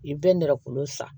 I bɛ nɛrɛ kolon san